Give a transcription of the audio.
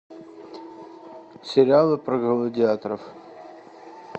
сериалы про гладиаторов